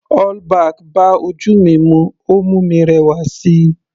All back bá ojú mi mu, ó mú mi rẹwà síi.